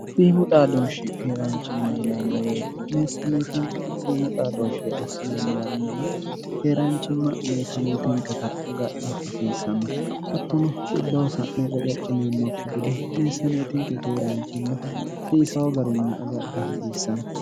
siimu xaadooshshi keeraanchimma yineemmo beete meessaaneetinke siimu xaadooshshi assineemmo yaannala keeraanchimma meessaaneetinketa agadha hasiissanno attono xibbhosa'ne reqe ccineemmokki gide meessaaneetinke keeraanchimma hasiisho garinni agadha hasiissanno